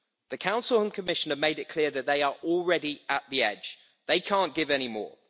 The Council and Commission have made it clear that they are already at the edge they can't give any more.